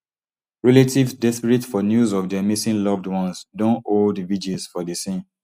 relatives desperate for news of dia missing loved ones don hold vigils for di scene